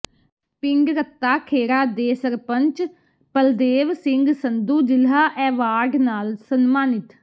ਪਿੰਡ ਰੱਤਾ ਖੇੜਾ ਦੇ ਸਰਪੰਚ ਬਲਦੇਵ ਸਿੰਘ ਸੰਧੂ ਜ਼ਿਲ੍ਹਾ ਐਵਾਰਡ ਨਾਲ ਸਨਮਾਨਿਤ